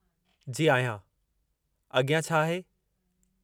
जी आहियां। अॻियां छा आहे?